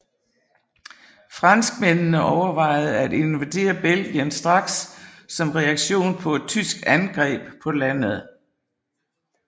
Franskmændene overvejede at invadere Belgien straks som reaktion på et tysk angreb på landet